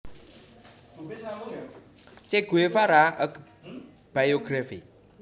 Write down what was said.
Che Guevara A Biography